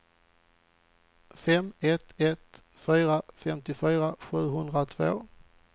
fem ett ett fyra femtiofyra sjuhundratvå